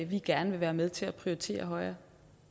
vi gerne vil være med til at prioritere højere